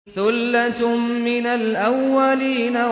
ثُلَّةٌ مِّنَ الْأَوَّلِينَ